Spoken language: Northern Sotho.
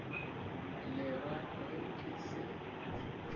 le ra ge ke se